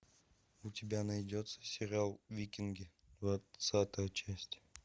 у тебя найдется сериал викинги двадцатая часть